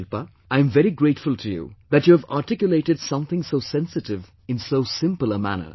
Shilpa, I am very grateful to you that you have articulated something so sensitive in so simple a manner